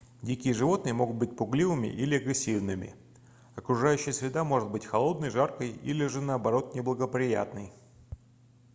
дикие животные могут быть пугливыми или агрессивными окружающая среда может быть холодной жаркой или же наоборот неблагоприятной